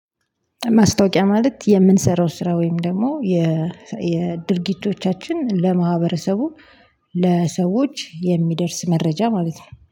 ማስታወቂያ ማለት የምንሰራው ስራ ወይም ደግሞ የ የድርጊቶቻችን ለማህበረሰቡ ለሰዎች የሚደርስ መረጃ ማለት ነው